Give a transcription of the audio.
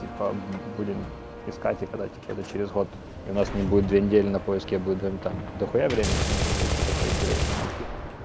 типа будем искать типа да типа да через год у нас не будет две недели на поиск я буду твоим там дохуя времени то можно будет что-то поинтереснее найти